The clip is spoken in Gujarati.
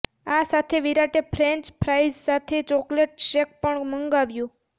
આ સાથે વિરાટે ફ્રેંચ ફ્રાઇઝ સાથે ચોકલેટ શેક પણ મંગાવ્યો